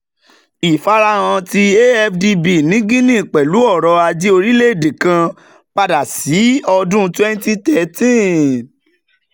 ifarahan ti afdb ni guinea pẹlu ọrọ-aje orilẹ-ede kan pada si ọdun twenty thireteen.